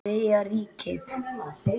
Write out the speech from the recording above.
Þriðja ríkið.